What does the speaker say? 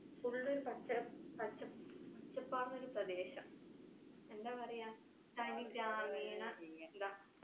full പച്ചപ്പ് പച്ച പച്ചപ്പാർന്നോരു പ്രദേശം എന്താ പറയാ തനി ഗ്രാമീണ